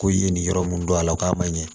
Ko i ye nin yɔrɔ mun dɔn a la k'a ma ɲɛ